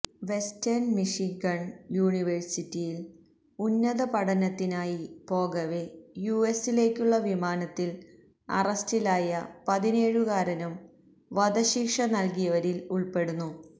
western Michigan യൂണിവേഴ്സിറ്റിയില് ഉന്നതപഠനത്തിനായി പോകവെ യുഎസിലേക്കുള്ള വിമാനത്തില് അറസ്റ്റിലായ പതിനേഴുകാരനും വധശിക്ഷ നല്കിയവരില് ഉള്പ്പെടുന്നു